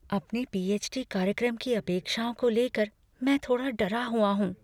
अपने पीएच.डी. कार्यक्रम की अपेक्षाओं को ले कर मैं थोड़ा डरा हुआ हूँ।